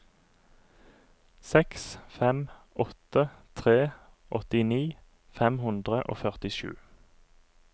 seks fem åtte tre åttini fem hundre og førtisju